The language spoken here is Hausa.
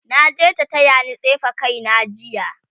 naje ta tayani tsefe kaina jiya